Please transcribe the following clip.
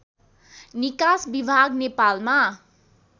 निकास विभाग नेपालमा